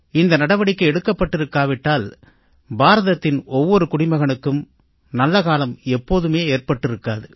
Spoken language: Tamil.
இந்த நடவடிக்கை எடுக்கப்பட்டிருக்கா விட்டால் பாரதத்தின் ஒவ்வொரு குடிமகனுக்கும் நல்ல காலம் எப்போதுமே ஏற்பட்டிருக்காது